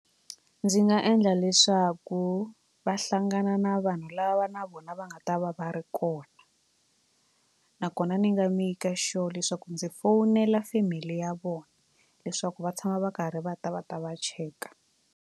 Ndzi nga endla leswaku va hlangana na vanhu lava na vona va nga ta va va ri kona nakona ni nga maker sure leswaku ndzi fowunela family ya vona leswaku va tshama va karhi va ta va ta va cheka.